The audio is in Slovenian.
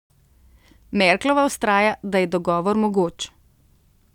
Merklova vztraja, da je dogovor mogoč.